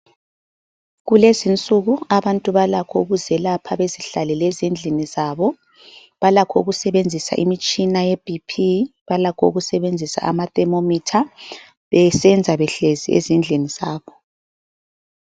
Kulezinsuku abantu balakho ukuzelapha bezihlalele ezindlini zabo. Balakho ukusebenzisa imitshina yebp, balakho ukusebenzisa amathermometer besenza behlezi ezindlini zabo.